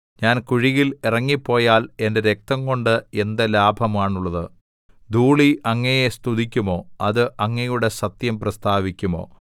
ഞാൻ കുഴിയിൽ ഇറങ്ങിപ്പോയാൽ എന്റെ രക്തംകൊണ്ട് എന്ത് ലാഭമാണുള്ളത് ധൂളി അങ്ങയെ സ്തുതിക്കുമോ അത് അങ്ങയുടെ സത്യം പ്രസ്താവിക്കുമോ